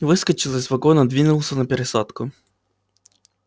выскочил из вагона двинулся на пересадку